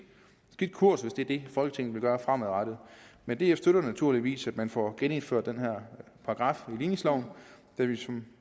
kurs hvis det er det folketinget vil gøre fremadrettet men df støtter naturligvis at man får genindført den her paragraf i ligningsloven da vi som